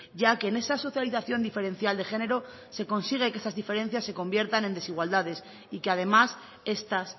ya que en esa socialización diferencial de género se consigue que esas diferencias se conviertan en desigualdades y que además estas